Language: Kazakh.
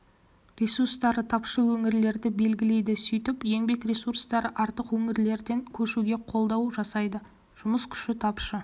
ресурстары тапшы өңірлерді белгілейді сөйтіп еңбек ресурстары артық өңірлерден көшуге қолдау жасайды жұмыс күші тапшы